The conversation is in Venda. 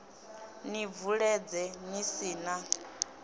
ni bvuledze ni si na